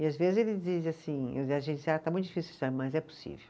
E às vezes ele assim, muito difícil, mas é possível.